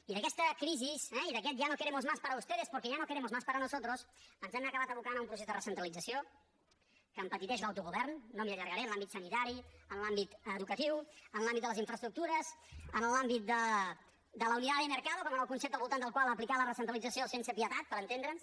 i d’aquesta crisi eh i d’aquest ya no queremos más para ustedes porque ya no queremos más para nosotros ens han acabat abocant a un procés de recentralització que empetiteix l’autogovern no m’hi allargaré en l’àmbit sanitari en l’àmbit educatiu en l’àmbit de les infraestructures en l’àmbit de la unidad de mercado com el concepte al voltant del qual aplicar la recentralització sense pietat per entendre’ns